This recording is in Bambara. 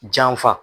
Janfa